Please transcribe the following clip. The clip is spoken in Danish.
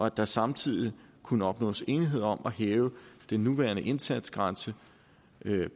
at der samtidig kunne opnås enighed om at hæve den nuværende indsatsgrænse